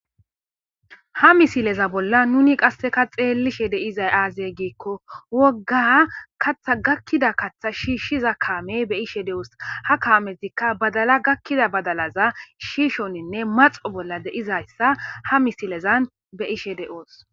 ha misileza bolla nuni qasseka xeellishe deizay aazey giikko wogga katha gakkida kaththa shiishshiza kaame be ishe de7oos ha kaametikka badala gakkida badalaza shiishoninne maxo bolla deizayssa ha misilezan be ishe de7oos